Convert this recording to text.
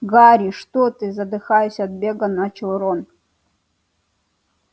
гарри что ты задыхаясь от бега начал рон